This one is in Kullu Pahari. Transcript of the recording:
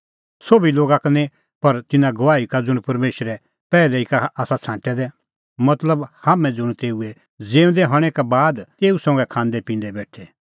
सोभी लोगा का निं पर तिन्नां गवाही का ज़ुंण परमेशरै पैहलै ई का छ़ांटै दै तै मतलबहाम्हैं ज़ुंण तेऊए ज़िऊंदै हणैं का बाद तेऊ संघै खांदैपिंदै बेठै